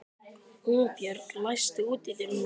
Húnbjörg, læstu útidyrunum.